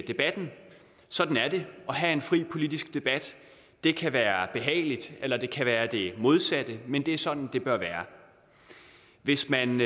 debatten sådan er det at have en fri politisk debat det kan være behageligt eller det kan være det modsatte men det er sådan det bør være hvis man